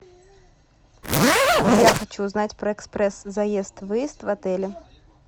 я хочу узнать про экспресс заезд выезд в отеле